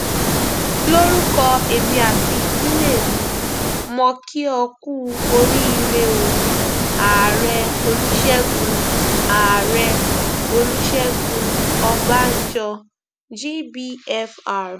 lórúkọ èmi àti ìdílé mi mọ kí ó kùú oríire o ààrẹ olùṣègùn ààrẹ olùṣègùn ọbànjọ gbfr